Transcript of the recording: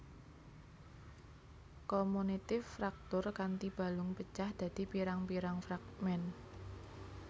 Komunitif fraktur kanthi balung pecah dadi pirang pirang fragmen